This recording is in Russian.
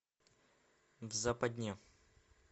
в западне